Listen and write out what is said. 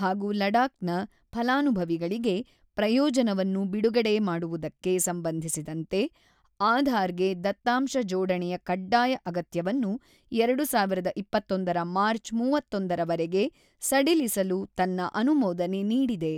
ಹಾಗೂ ಲಡಾಕ್ ನ ಫಲಾನುಭವಿಗಳಿಗೆ ಪ್ರಯೋಜನವನ್ನು ಬಿಡುಗಡೆ ಮಾಡುವುದಕ್ಕೆ ಸಂಬಂಧಿಸಿದಂತೆ ಆಧಾರ್ ಗೆ ದತ್ತಾಂಶ ಜೋಡಣೆಯ ಕಡ್ಡಾಯ ಅಗತ್ಯವನ್ನು 2021ರ ಮಾರ್ಚ್ 31ರವರೆಗೆ ಸಡಿಲಿಸಲು ತನ್ನ ಅನುಮೋದನೆ ನೀಡಿದೆ.